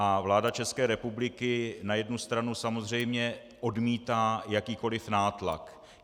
A vláda České republiky na jednu stranu samozřejmě odmítá jakýkoli nátlak.